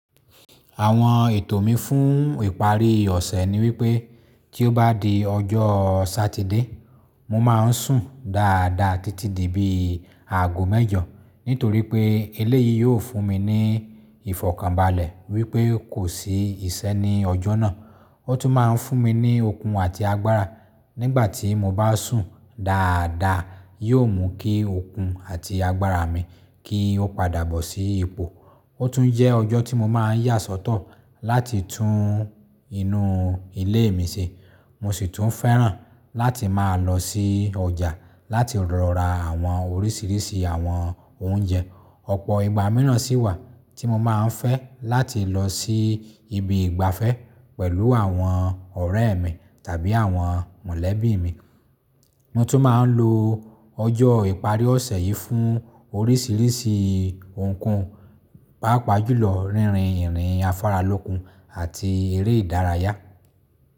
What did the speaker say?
Àwọn ètò mi fún ìparí ọ̀sẹ̀ ni wípé tí ó bá di ọjọ́ Satide, mo máa ń sùn dáadáa títí di bí àágò mẹ́jọ nítorí pé eleyìí yóò fún mi ní ìfọ̀kànbalẹ̀ wípé kò sí iṣẹ́ ní ọjọ́ náà. Ó tún máa ń fún mi ní okun àti agbára nígbà tí mo bá sùn dáadáa, yóò mú kí okun àti agbára mi kí ó padà bọ́ sí ipò. Ó tún jẹ́ ọjọ́ tí mo máa ń yà sọ́tọ̀ láti tún inú ilé mi ṣe. Mo sì tún fẹ́ràn láti máa lọ sí ọjà láti rọra àwọn oríṣiríṣi àwọn oúnjẹ. Ọ̀pọ̀ ìgbà míràn sì wà tí mo máa ń fẹ́ láti lọ sí ibi ìgbafẹ́ pẹ̀lú àwọn ọ̀rẹ́ mi tàbí àwọn mọ̀lẹ́bí mi. Mo tún máa ń lo ọjọ́ ìparí ọ̀sẹ̀ yìí fún oríṣiríṣi ohunkóhun, pàápàá jùlọ rínrin ìrìn afáralókun àti eré ìdárayá.